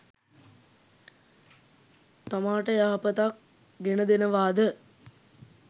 තමාට යහපතක් ගෙනදෙනවාද?